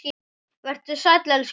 Vertu sæll, elsku pabbi minn.